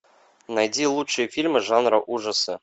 найди лучшие фильмы жанра ужасы